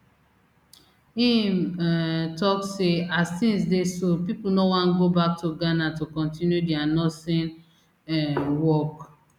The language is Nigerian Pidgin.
im um tok say as tins dey so pipo no wan go back to ghana to continue dia nursing um work